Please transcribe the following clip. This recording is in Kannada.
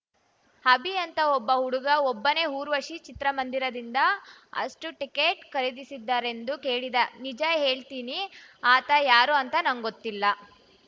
ಅಭಿ ಅಂತ ಒಬ್ಬ ಹುಡುಗ ಒಬ್ಬನೇ ಊರ್ವಶಿ ಚಿತ್ರಮಂದಿರದಿಂದ ಅಷ್ಟೂಟಿಕೆಟ್‌ ಖರೀದಿಸಿದ್ದಾರೆಂದು ಕೇಳಿದೆ ನಿಜ ಹೇಳ್ತೀನಿ ಆತ ಯಾರು ಅಂತ ನಂಗ್ ಗೊತ್ತಿಲ್ಲ